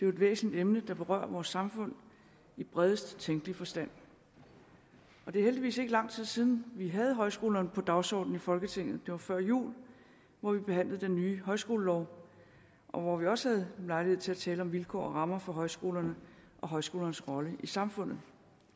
jo et væsentligt emne der berører vores samfund i bredest tænkelige forstand det er heldigvis ikke lang tid siden at vi havde højskolerne på dagsordenen i folketinget det var før jul hvor vi behandlede den nye højskolelov og hvor vi også havde lejlighed til at tale om vilkår og rammer for højskolerne og højskolernes rolle i samfundet